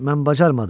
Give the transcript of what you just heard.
mən bacarmadım.